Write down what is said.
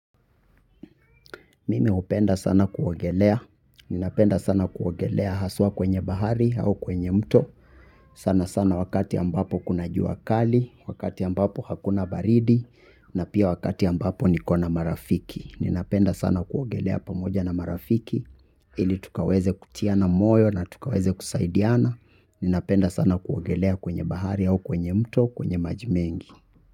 Mimi hupenda sana kuogelea, ninapenda sana kuogelea haswa kwenye bahari au kwenye mto, sana sana wakati ambapo kuna juu kali, wakati ambapo hakuna baridi, na pia wakati ambapo nikona marafiki. Ninapenda sana kuogelea pamoja na marafiki, ili tukaweze kutiana moyo na tukaweze kusaidiana, ninapenda sana kuogelea kwenye bahari au kwenye mto kwenye maji mengi.